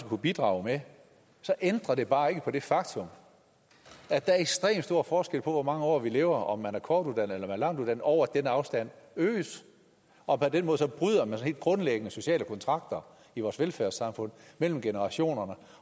kunne bidrage med ændrer det bare ikke på det faktum at der er ekstremt stor forskel på hvor mange år vi lever om man er kortuddannet eller langtuddannet og den afstand øges og på den måde bryder man sådan helt grundlæggende sociale kontrakter i vores velfærdssamfund mellem generationerne